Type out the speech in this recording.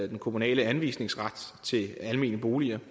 den kommunale anvisningsret til almene boliger